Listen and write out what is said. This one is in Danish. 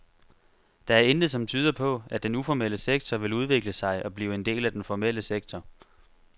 Der er intet som tyder på, at den uformelle sektor vil udvikle sig og blive en del af den formelle sektor.